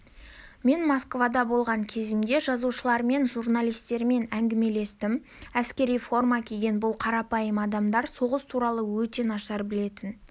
мен москвада болған кезімде жазушылармен журналистермен әңгімелестім әскери форма киген бұл қарапайым адамдар соғыс туралы өте нашар білетін